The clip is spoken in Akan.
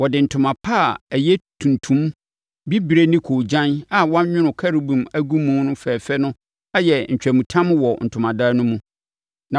Wɔde ntoma pa a ɛyɛ tuntum, bibire ne koogyan a wɔanwono Kerubim agu mu fɛfɛɛfɛ na ayɛ ntwamutam wɔ Ntomadan no mu.